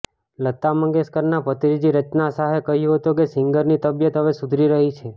લતા મંગેશકરના ભત્રીજી રચના શાહે કહ્યું હતું કે સિંગરની તબિયત હવે સુધરી રહી છે